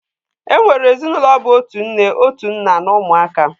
E nwere ezinụlọ bụ otu nne, otu nna, na ụmụaka